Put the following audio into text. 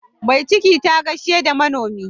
Mai ciki ta gaishe da manomi.